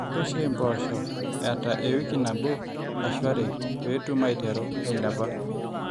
rrishai impoosho eeta ewiki nabo ashu are pee etum aaiterru aailepa